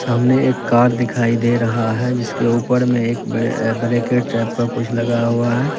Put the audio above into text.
सामने एक कार दिखाई दे रहा है जिसके ऊपर में एक अह ब्रैकेट टाइप का कुछ लगा हुआ है।